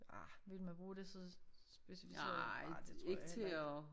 Ah ville man bruge det så specificeret nej det tror jeg heller ikke